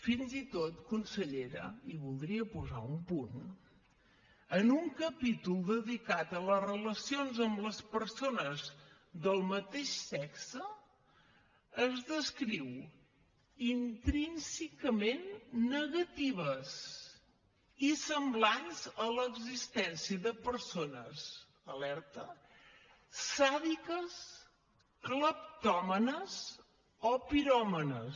fins i tot consellera i voldria posar un punt en un capítol dedicat a les relacions amb les persones del mateix sexe es descriu intrínsecament negatives i semblants a l’existència de persones alerta sàdiques cleptòmanes o piròmanes